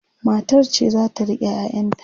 matar ce zata rike ƴaƴan ta